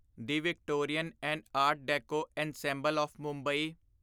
the Victorian and art deco ensemble of Mumbai